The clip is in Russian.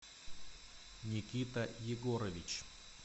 никита егорович